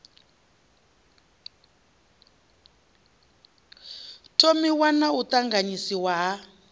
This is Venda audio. thomiwa na u ṱanganyiswa ha